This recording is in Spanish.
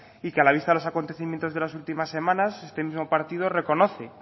y que a la vista de los acontecimientos de las últimas semanas este mismo partido reconoce